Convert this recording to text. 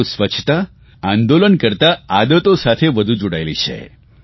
પરંતુ સ્વચ્છતા આંદોલન કરતા આદતો સાથે જોડાયેલી છે